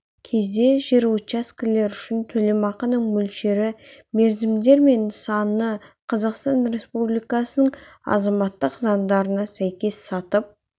кезде жер учаскелер үшін төлемақының мөлшері мерзімдер мен нысаны қазақстан республикасының азаматтық заңдарына сәйкес сатып